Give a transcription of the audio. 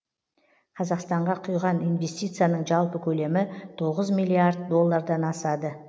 қазақстанға құйған инвестицияның жалпы көлемі тоғыз миллиард доллардан асады